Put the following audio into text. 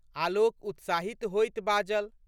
आलोक उत्साहित होइत बाजल।